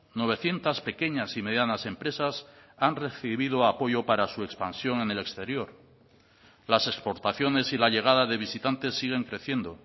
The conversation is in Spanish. novecientos pequeñas y medianas empresas han recibido apoyo para su expansión en el exterior las exportaciones y la llegada de visitantes siguen creciendo